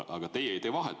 Aga teie ei tee vahet.